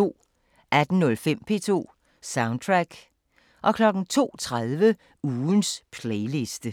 18:05: P2 Soundtrack 02:30: Ugens playliste